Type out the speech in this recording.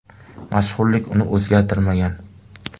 Mashhurlik uni o‘zgartirmagan.